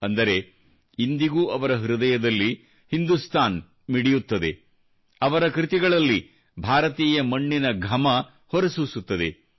ಅಂದರೆ ಇಂದಿಗೂ ಅವರ ಹೃದಯದಲ್ಲಿ ಹಿಂದೂಸ್ತಾನ್ ಮಿಡಿಯುತ್ತದೆ ಅವರ ಕೃತಿಗಳಲ್ಲಿ ಭಾರತೀಯ ಮಣ್ಣಿನ ಘಮ ಹೊರಸೂಸುತ್ತದೆ